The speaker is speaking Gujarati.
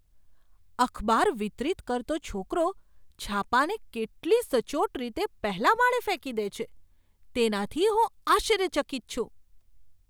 અખબાર વિતરિત કરતો છોકરો છાપાંને કેટલી સચોટ રીતે પહેલા માળે ફેંકી દે છે તેનાથી હું આશ્ચર્યચકિત છું.